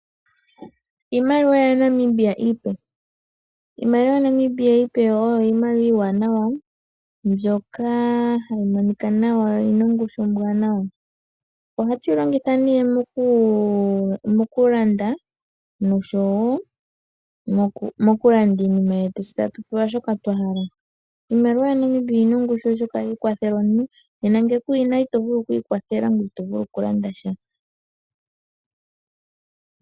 Iimaliwa yaNamibia iipe. Iimaliwa yaNamibia iipe oyo iimaliwa iiwanawa mbyoka hayi monika nawa noyi na ongushu ombwaanawa. ohatu yi longitha mokulanda, uuna tatu landa iinima yetu tse tatu pewa shoka twa hala. Iimaliwa yaNamibia oyi na ongushu, oshoka ohayi kwathele omuntu, ngele ku yi na ito vulu oku ikwathela ngoye ito vulu okulanda sha.